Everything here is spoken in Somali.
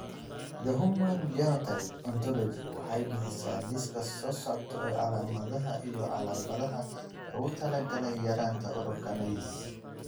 The Human Phenotype Ontology waxay bixisaa liiska soo socda ee calaamadaha iyo calaamadaha loogu talagalay yaraanta Urocanase.